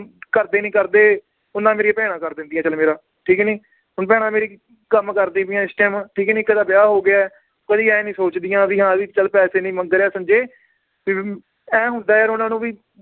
ਘਰਦੇ ਨੀ ਕਰਦੇ ਓਨਾ ਮੇਰੀਆਂ ਭੈਣਾਂ ਕਰ ਦਿੰਦਿਆਂ ਚੱਲ ਮੇਰਾ ਠੀਕ ਨੀ ਹੁਣ ਭੈਣਾਂ ਮੇਰੀ ਕੰਮ ਕਰਦੀ ਪਈਆਂ ਇਸ time ਠੀਕ ਨੀ ਇੱਕ ਦਾ ਵਿਆਹ ਹੋ ਗਿਆ ਹੈ, ਕਦੀ ਇਹ ਨੀ ਸੋਚਦੀਆਂ ਵੀ ਹਾਂ ਵੀ ਚੱਲ ਪੈਸੇ ਨੀ ਮੰਗ ਰਿਹਾ ਸੰਜੇ ਫਿਰ ਵੀ ਏਂ ਹੁੰਦਾ ਯਾਰ ਉਹਨਾਂ ਨੂੰ ਵੀ